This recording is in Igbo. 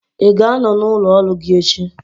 ị ga-anọ n'ụlọ ọrụ gị echi?